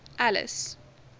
alice